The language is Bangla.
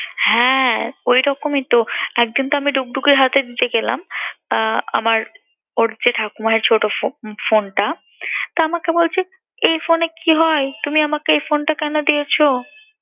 হ্যাঁ ওইরকমই তো। একদিন তো আমি ডুগডুগির হাতে দিয়ে নিছে গেলাম আহ আমার ওর যে ঠাকুমা এর ছোট ph~ phone টা। তা আমাকে বলছে এই phone কি হয়? তুমি আমাকে এই phone টা কেন দিয়েছ?